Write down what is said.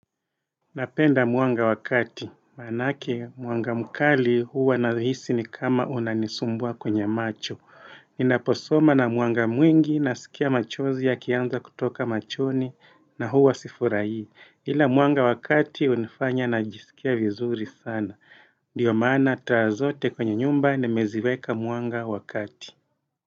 Napenda mwanga wa kati. Manake mwanga mkali huwa nahisi ni kama unanisumbua kwenye macho. Ninaposoma na mwanga mwingi nasikia machozi yakianza kutoka machoni na huwa sifuraii. Hila mwanga wa kati unifanya najisikia vizuri sana. Diyo maana taa zote kwenye nyumba nimeziweka mwanga wa kati.